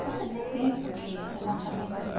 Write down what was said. está super bem, porque a nossa renda é